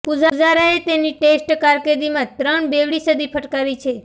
પુજારાએ તેની ટેસ્ટ કારકિર્દીમાં ત્રણ બેવડી સદી ફટકારી છે